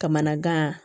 Kamanagan